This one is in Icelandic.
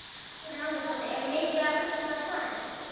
Hugrún Halldórsdóttir: Er mikið af rusli á svæðinu?